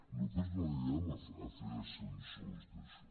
nosaltres no anirem a fer de censors d’això